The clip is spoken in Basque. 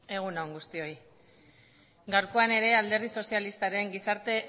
egun on guztioi gaurkoan ere alderdi sozialistaren gizarte